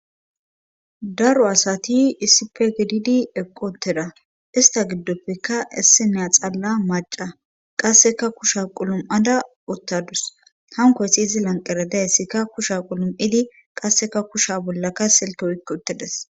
Daro asati issipe gididi eqqoteda ista giddoppeka isseneya xalla maca qasseka kusha qulum7ada uttadus hankoysi izi lanqera dayssikka kusha qulum7idi qasseka kusha bollaka silke oykke uttides.